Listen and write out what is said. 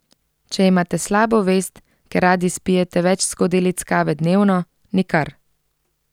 Če imate slabo vest, ker radi spijete več skodelic kave dnevno, nikar.